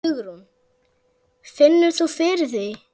Hugrún: Finnur þú fyrir því?